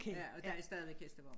Ja og der er stadig hestevogn